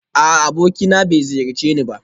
A'a abokina bai ziyarce ni ba